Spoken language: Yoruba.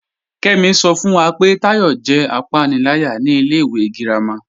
Kẹ́mí ṣọ́ fún wá pé Táyọ̀ jẹ́ àpánìlàyà ní ilẹ̀ ìwé gírámà.